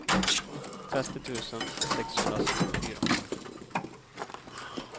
trettio tusen sexhundrasextiofyra